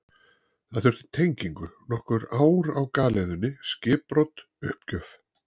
Það þurfti tengingu, nokkur ár á galeiðunni, skipbrot, uppgjöf.